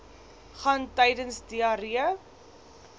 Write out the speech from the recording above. gaan tydens diarree